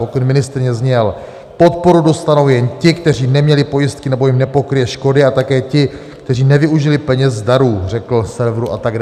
Pokyn ministryně zněl: podporu dostanou jen ti, kteří neměli pojistky nebo jim nepokryje škody, a také ti, kteří nevyužili peněz z darů," řekl serveru atd.